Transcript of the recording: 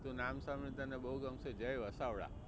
તો નામ સાંભળી ને તને બહુ ગમશે જય વસાવડા.